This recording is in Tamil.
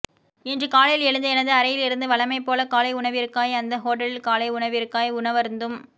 இன்று காலையில் எழுந்து எனது அறையிலிருந்து வழமைபோல காலை உணவிற்காய் அந்த ஹோட்டலின் காலை உணவிற்காய் உணவருந்தும்